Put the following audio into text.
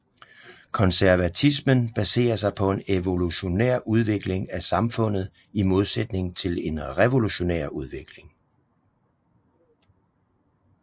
Konservatismen baserer sig på en evolutionær udvikling af samfundet i modsætning til en revolutionær udvikling